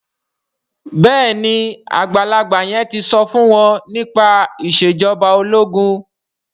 béèni àgbàlagbà yen tí so fún wón nípa Ìṣèjọba ológun.